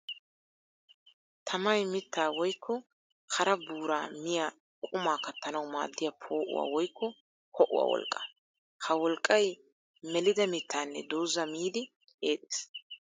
Tammay mitta woykko hara buura miya qumaa kattanawu maadiya poo'uwa woykko ho'uwa wolqqa. Ha wolqqay melidda mittanne dooza miiddi eexxes.